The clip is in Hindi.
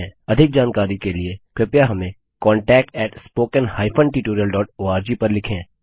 अधिक जानकारी के लिए कृपया हमें contactspoken हाइफेन tutorialओआरजी पर लिखें